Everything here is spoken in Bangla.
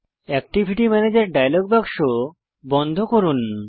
অ্যাকটিভিটি ম্যানেজের ডায়লগ বাক্স বন্ধ করুন